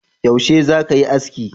Yaushe za ka yi aski?